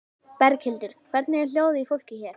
Berghildur: Hvernig er hljóðið í fólki hér?